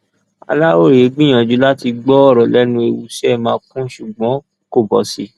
aláròye gbìyànjú láti gbọ ọrọ lẹnu ewuṣẹ makùn ṣùgbọn kò bọ sí i